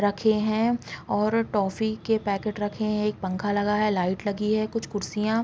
रखे हैं और टॉफ़ी के पैकेट रखे हैं एक पंखा लगा है लाइट लगी हैं कुछ कुर्सियाँ --